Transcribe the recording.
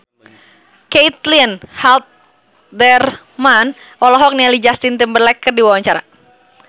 Caitlin Halderman olohok ningali Justin Timberlake keur diwawancara